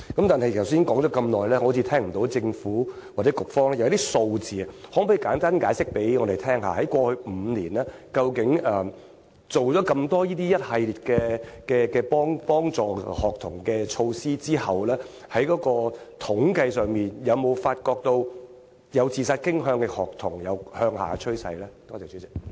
但是，局長剛才說了那麼多，好像聽不到政府或局方的數字，可否簡單向我們解釋，在過去5年，究竟在推行了一系列協助學童的措施後，在統計上，有否發現有自殺傾向的學童人數有下調的趨勢呢？